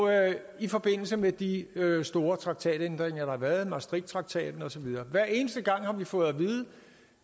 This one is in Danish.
i forbindelse med de store traktatændringer der har været maastrichttraktaten og så videre hver eneste gang har vi fået at vide